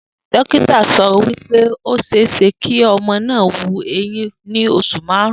Dókítà so̩ wí pé ó s̩eé s̩e kí o̩mo̩ náà wu eyín ní os̩ù márùn-ún